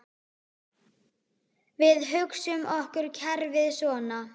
Við hugsum okkur kerfið svona